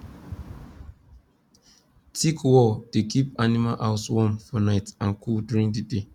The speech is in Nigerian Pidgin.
thick wall dey keep animal house warm for night and cool during the day